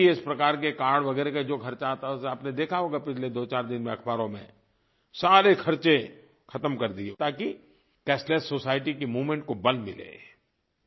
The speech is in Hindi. और भी इस प्रकार के कार्ड वगैरह का जो ख़र्चा आता था उसे आपने देखा होगा पिछले 24 दिन में अख़बारों में सारे ख़र्चे ख़त्म कर दिए ताकि कैशलेस सोसाइटी की मूवमेंट को बल मिले